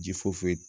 Ji foyi